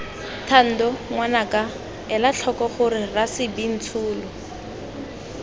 thando ngwanaka elatlhoko gore rasebintsolo